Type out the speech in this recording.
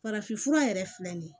Farafinfura yɛrɛ filɛ nin ye